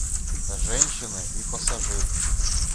женщины и пассажир